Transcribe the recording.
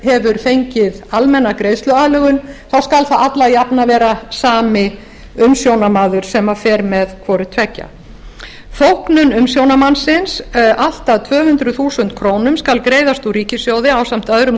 hefur fengið almenna greiðsluaðlögun þá skal alla jafnan vera sami umsjónarmaður sem fer með hvoru tveggja þóknun umsjónarmannsins allt að tvö hundruð þúsund krónum skal greiðast úr ríkissjóði ásamt öðrum